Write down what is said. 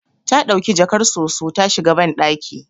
Ta dauki jakar soso ta shiga bandaki